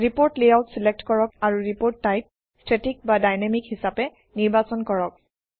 report layout select কৰক আৰু report type static বা ডাইনামিক হিচাপে নিৰ্বাচন কৰক